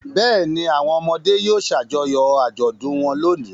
Bẹ́ẹ̀ ni, àwọn ọmọdé yóò ṣàjọyọ̀ àjọ̀dún wọn lónìí.